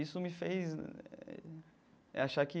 Isso me fez eh achar que...